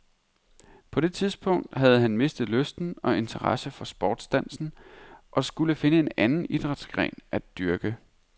På det tidspunkt havde han mistet lysten og interessen for sportsdansen og skulle finde en anden idrætsgren at dyrke.